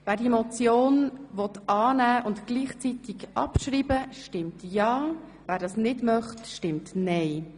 Wer diese Motion annehmen und gleichzeitig abschreiben will, stimmt ja, wer das ablehnt, stimmt nein.